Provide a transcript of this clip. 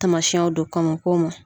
Tamasiyɛnw do kɔn mo k'o ma.